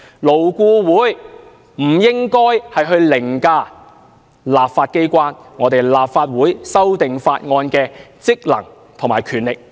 勞顧會不應該凌駕立法機關，凌駕立法會修訂法案的職能和權力。